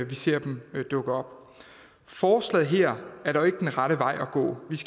vi ser dem dukke op forslaget her er dog ikke den rette vej at gå